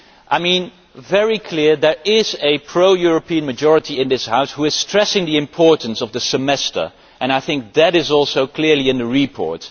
I mean, it is very clear there is a pro European majority in this House which is stressing the importance of the Semester and I think that is also clear from the report.